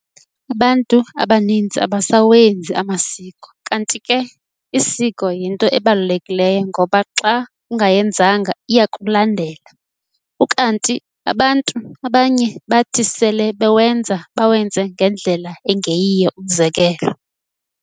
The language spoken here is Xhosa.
Abantu abaninzi abasawenzi amasiko kanti ke isiko yinto ebalulekileyo ngoba xa ungayenzanga iyakulandela, ukanti abanye bathi sele bewenza bawenze ngendlela engeyiyo umzekelo.